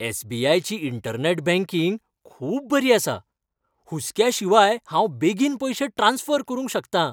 S. B. I. ची internet banking खूब बरी आसा. हुस्क्या शिवाय हांव बेगीन पयशे ट्रांस्फर करूंक शकता.